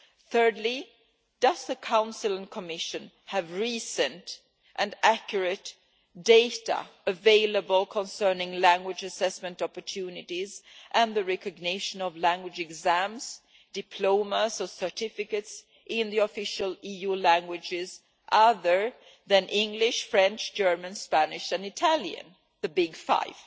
Thirdly, does the Council and the Commission have recent and accurate data available concerning language assessment opportunities and the recognition of language exams, diplomas or certificates in the official EU languages other than English, French, German, Spanish and Italian the big five?